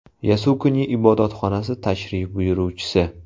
Yasukuni ibodatxonasi tashrif buyuruvchisi.